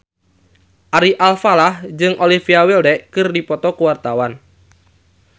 Ari Alfalah jeung Olivia Wilde keur dipoto ku wartawan